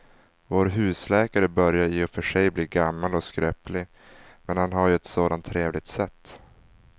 Vår husläkare börjar i och för sig bli gammal och skröplig, men han har ju ett sådant trevligt sätt!